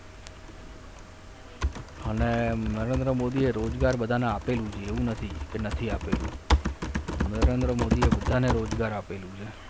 અને નરેન્દ્ર મોદીએ રોજગાર બધાને આપેલું છે એવું નથી કે નથી આપેલું નરેન્દ્ર મોદીએ બધાને રોજગાર આપેલું છે.